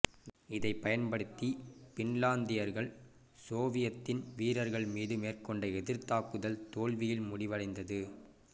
இதை பயன்படுத்தி பின்லாந்தியர்கள் சோவியத்தின் வீரர்கள் மீது மேற்கொண்ட எதிர் தாக்குதல் தோல்வியில் முடிவடைந்தது